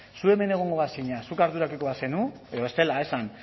zu hemen egongo bazina zuk ardurapeko bazenu edo bestela esan